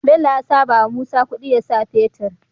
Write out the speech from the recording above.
Bello yasa bawa musa kudi yasa fetir